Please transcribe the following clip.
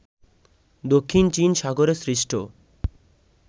দক্ষিণ চীন সাগরে সৃষ্ট